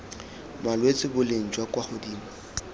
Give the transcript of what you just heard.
malwetse boleng jwa kwa godimo